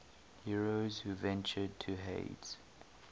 heroes who ventured to hades